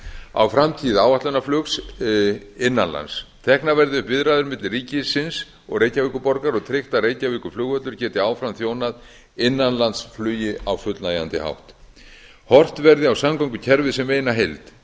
á framtíð áætlunarflugs innan lands teknar verði upp viðræður milli ríkisins og reykjavíkurborgar og tryggt að reykjavíkurflugvöllur geti áfram þjónað innanlandsflugi á fullnægjandi hátt horft verði á samgöngukerfið sem eina heild